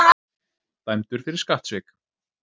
Dæmdur fyrir skattsvik